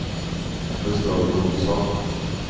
Gustaf Jonsson